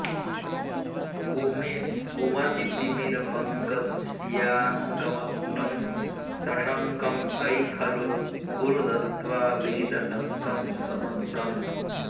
कुमतितिमिरपङ्कस्याङ्कमग्नं सशङ्कं अयि खलु कुरु दत्वा वीतशङ्कं स्वमङ्कम्